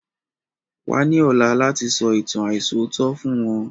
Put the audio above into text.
Wa ni ọ̀la láti sọ ìtàn aisọ̀tọ̀ fún wọn